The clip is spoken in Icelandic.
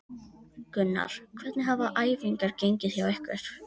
Gunnar: Hvernig hafa æfingar gengið hjá ykkur?